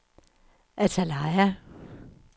Antalya